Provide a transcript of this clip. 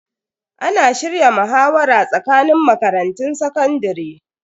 Ana shirya muhawara tsakanin makarantun sakandare.